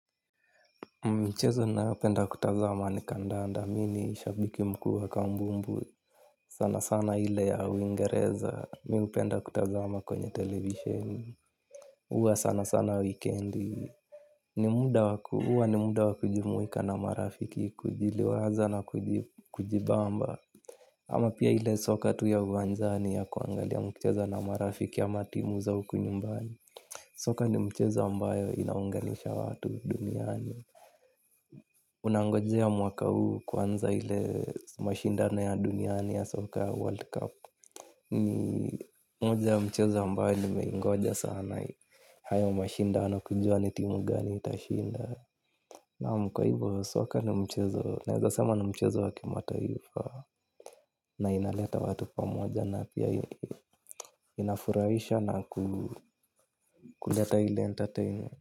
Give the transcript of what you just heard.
Michezo ninayopenda kutazama ni kandanda, mi ni shabiki mkuu wa kambumbu. Sana sana ile ya uingereza mi hupenda kutazama kwenye televisheni. Huwa sana sana weekendi huwa ni muda wa kujimuika na marafiki, kujiliwaza na kujibamba. Ama pia ile soka tu ya uanjani ya kuangalia mkicheza na marafiki au ama timu za huku nyumbani. Soka ni mchezo ambayo inaunganisha watu duniani. Nangojea mwaka huu kwanza ile mashindano ya duniani ya Soka World Cup. Ni moja ya michezo ambayo nimeingoja sana. Hayo mashindano kujua ni timu gani itashinda. Nam kwa hivo soka ni mchezo naeza sema ni mchezo wa kimataifa. Na inaleta watu pamoja na pia inafurahisha na kuleta ile entertain.